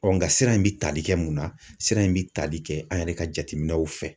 nka siran in bɛ tali kɛ mun na sira in bɛ tali kɛ an yɛrɛ ka jateminɛw fɛ.